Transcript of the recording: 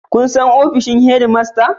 Shin kun san ofishin Head master?